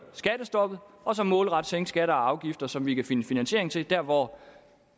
skattestoppet og så målrettet sænke skatter og afgifter som vi kan finde finansiering til der hvor